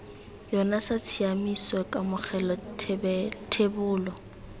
yona sa tshiaimiso kamogelo thebolo